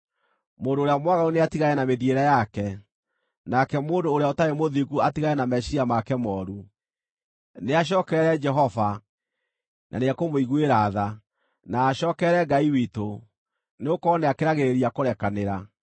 Mũndũ ũrĩa mwaganu nĩatigane na mĩthiĩre yake, nake mũndũ ũrĩa ũtarĩ mũthingu atigane na meciiria make mooru. Nĩacookerere Jehova, na nĩekũmũiguĩra tha, na acookerere Ngai witũ, nĩgũkorwo nĩakĩragĩrĩria kũrekanĩra.